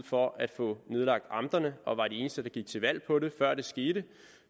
for at få nedlagt amterne og var de eneste det gik til valg på det før det skete